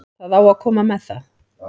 Það á að koma með það.